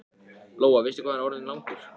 Lóa: Veistu hvað hann er orðinn langur?